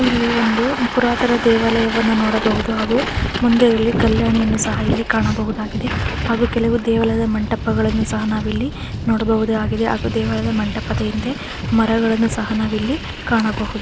ಇಲ್ಲಿ ಒಂದು ಪುರಾತನ ದೇವಾಲಯವನ್ನ ನೋಡಬಹುದು ಹಾಗೂ ಮುಂದೆ ಇಲ್ಲಿ ಕಲ್ಯಾಣಿ ಅನ್ನು ಸಹ ಇಲ್ಲಿ ಕಾಣಬಹುದಾಗಿದೆ ಹಾಗೂ ಕೆಲವು ದೇವಾಲಯದ ಮಂಟಪದ ಹಿಂದೆ ಮರಗಳನ್ನು ಸಹ ನಾವಿಲ್ಲಿ ಕಾಣಬಹುದು.